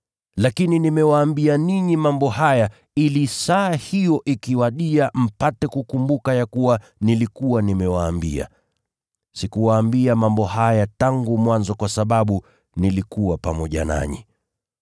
Lakini nimewaambia ninyi mambo haya, ili saa hiyo ikiwadia mpate kukumbuka ya kuwa nilikuwa nimewaambia. Sikuwaambia mambo haya tangu mwanzo kwa sababu nilikuwa pamoja nanyi.